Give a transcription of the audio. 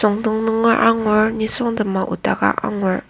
sungdong nunger angur nisungtema odaka angur.